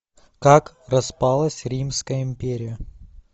как распалась римская империя